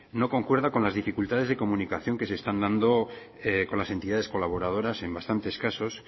no concuerda con las dificultades de comunicación que se están dando con las entidades colaboradoras en bastantes casos